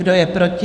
Kdo je proti?